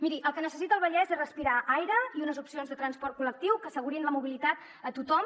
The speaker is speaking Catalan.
miri el que necessita el vallès és respirar aire i unes opcions de transport col·lectiu que assegurin la mobilitat a tothom